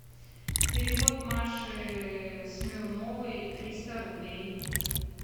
перевод маше смирновой триста рублей